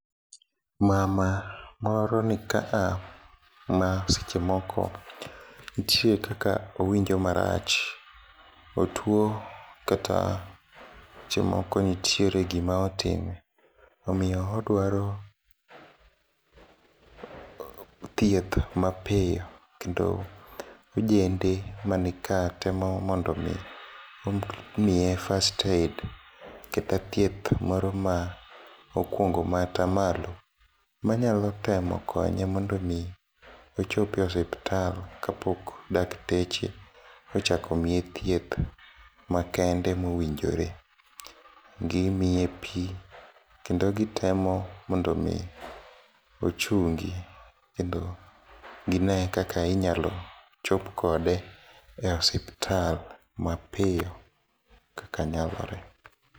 Mama moro nikaa masechemoko ntie kaka owinjo marach ,otuo kata sechemoko ntiere gima otime, omiyo odwaro thieth mapiyo kendo ojende manika temo mondomi omiye first aid kata thieth moro ma okuongo maata malo manyalo temo konye mondomi ochopi e osiptal kapok dakteche ochak omie thieth makende mowinjore. Gimiye pii, kendo gitemo mondomi ochungi, kendo ginee kaka inyalo chop kode e osiptal mapiyo kaka nyalore.